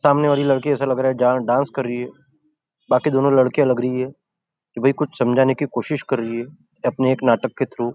सामने वाली लड़की ऐसा लग रहा है डांस कर रही है बाकी दोनों लड़कियाँ लग रही है क्यों भी कुछ समझाने कि कोशिश कर रही है अपने एक नाटक के --